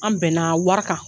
An bɛnna wari kan.